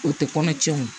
O tɛ kɔnɔ tiɲɛ o